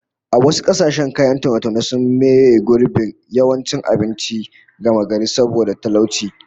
A wasu kasashen kayan taune-taune sun maybe gurbin yawancin abinci gamagari saboda talauci